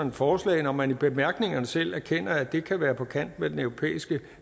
et forslag når man i bemærkningerne selv erkender at det kan være på kant med den europæiske